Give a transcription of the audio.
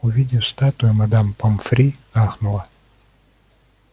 увидев статую мадам помфри ахнула